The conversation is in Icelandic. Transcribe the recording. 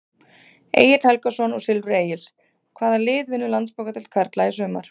Egill Helgason úr Silfri Egils Hvaða lið vinnur Landsbankadeild karla í sumar?